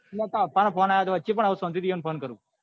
અલ્યા તાર પપ્પા નો phone આવ્યો હતો પણ હવે શાંતિ થી એમને phone કરું.